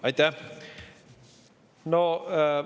Aitäh!